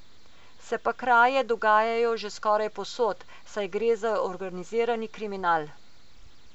Se pa kraje dogajajo že skoraj povsod, saj gre za organizirani kriminal.